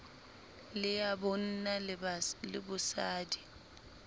le ya bonna le bosadi